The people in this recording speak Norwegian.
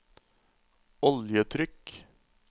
oljetrykk